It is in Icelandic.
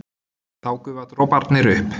Þá gufa droparnir upp.